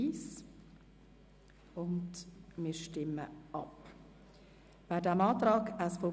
Wir stimmen über den Antrag SVP/Wyss ab.